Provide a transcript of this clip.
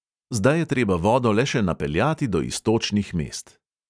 Zdaj je treba vodo le še napeljati do iztočnih mest.